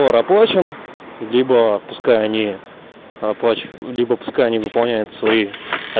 рабочим гибло пускай они оплачивают либо пускай не выполняет свои